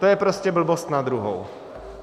To je prostě blbost na druhou.